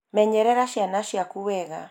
menyerera ciana ciaku wega